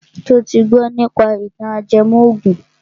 Ṣo ti gbọ nípa ìtàn ajẹmọ ògùn?